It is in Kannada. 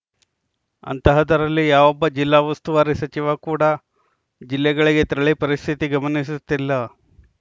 ಅಂತಹದರಲ್ಲಿ ಯಾವೊಬ್ಬ ಜಿಲ್ಲಾ ಉಸ್ತುವಾರಿ ಸಚಿವ ಕೂಡಾ ಜಿಲ್ಲೆಗಳಿಗೆ ತೆರಳಿ ಪರಿಸ್ಥಿತಿ ಗಮನಿಸುತ್ತಿಲ್ಲ